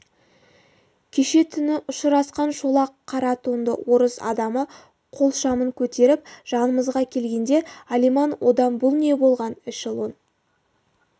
кеше түні ұшырасқан шолақ қара тонды орыс адамы қолшамын көтеріп жанымызға келгенде алиман одан бұл не болған эшелон